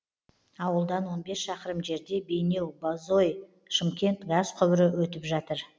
ауылдан он бес шақырым жерде бейнеу бозой шымкент газ құбыры өтіп жатыр